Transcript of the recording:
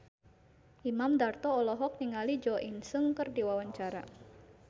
Imam Darto olohok ningali Jo In Sung keur diwawancara